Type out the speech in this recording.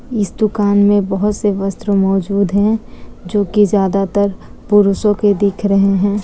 इस दुकान मे बहुत से वस्त्र मौजूद हैं जो की ज्यादातर पुरुषों के दिख रहे हैं ।